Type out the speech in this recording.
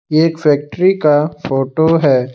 एक फैक्ट्री का फोटो है।